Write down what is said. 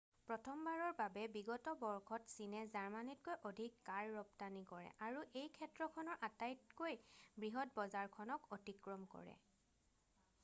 প্ৰথমবাৰৰ বাবে বিগত বৰ্ষত চীনে জাৰ্মানীতকৈ অধিক কাৰ ৰপ্তানি কৰে আৰু এই ক্ষেত্ৰখনৰ আটাইতকৈ বৃহৎ বজাৰখনক অতিক্ৰম কৰে